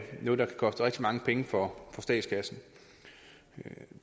koste rigtig mange penge for statskassen